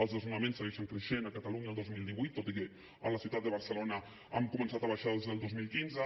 els desnonaments segueixen creixent a catalunya el dos mil divuit tot i que a la ciutat de barcelona han començat a baixar des del dos mil quinze